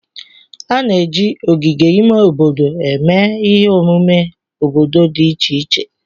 A na-eji ogige ime obodo eme ihe omume obodo dị iche iche